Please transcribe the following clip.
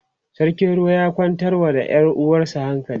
sarkin ruwa ya kwantar wa da Yan ruwan hankali